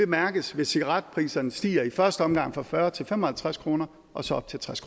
mærkes hvis cigaretpriserne stiger i første omgang fra fyrre kroner til fem og halvtreds kroner og så op til tres